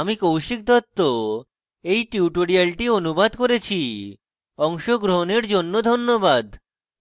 আমি কৌশিক দত্ত এই টিউটোরিয়ালটি অনুবাদ করেছি অংশগ্রহনের জন্য ধন্যবাদ